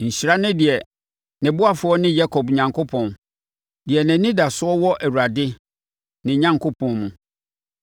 Nhyira ne deɛ ne ɔboafoɔ ne Yakob Onyankopɔn, deɛ nʼanidasoɔ wɔ Awurade, ne Onyankopɔn mu.